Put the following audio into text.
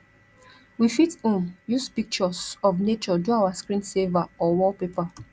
we fit um use pictures of nature do our screen saver or wallpaper